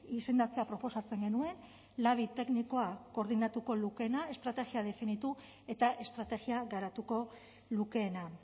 izendatzea proposatzen genuen labi teknikoa koordinatuko lukeena estrategia definitu eta estrategia garatuko lukeena